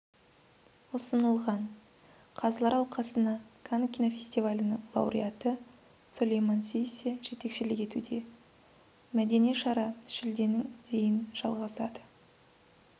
ұсынылған қазылар алқасына канн кинофестивалінің лауреаты сулейман сиссе жетекшілік етуде мәдени шара шілденің дейін жалғасады